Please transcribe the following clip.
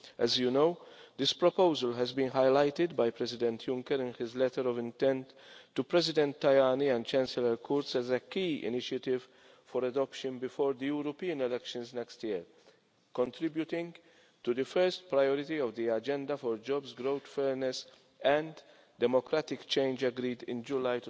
As you know, this proposal has been highlighted by President Juncker in his letter of intent to President Tajani and Chancellor Kurz as a key initiative for adoption before the European elections next year, contributing to the first priority of the agenda for jobs growth, fairness and democratic change agreed in July